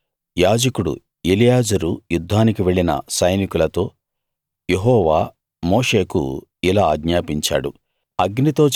అప్పుడు యాజకుడు ఎలియాజరు యుద్ధానికి వెళ్ళిన సైనికులతో యెహోవా మోషేకు ఇలా ఆజ్ఞాపించాడు